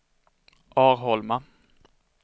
Arholma